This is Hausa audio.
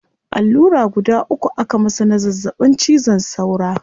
Allura guda uku aka masa na zazzabin cizon saura